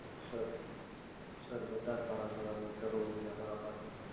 sir બધા સારા સારા doctor હોય છે અમારા પાસે